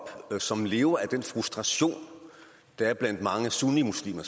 som lever af den frustration der er blandt specielt mange sunnimuslimer